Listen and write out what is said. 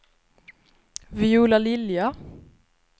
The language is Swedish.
Viola Lilja